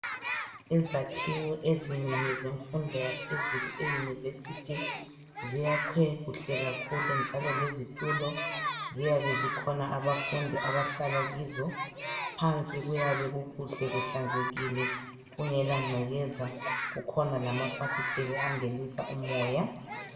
Izakhiwo ezinengi zemfundo yaphezulu, euniversity. Ziyakhwe kuhle kakhulu, njalo lezitulo ziyabe zikhona. Abafundi abahlala kizo..Phansi kuyabe kukuhle, kuhlanzekile. Kungalangcekeza. Kukhona lamafasiteli angenisa umoya,